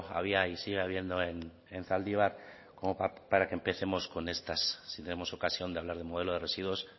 había y sigue habiendo en zaldibar como para que empecemos con estas si tenemos ocasión de hablar de modelo de residuos